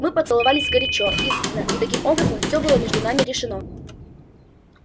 мы поцеловались горячо искренно и таким образом всё было между нами решено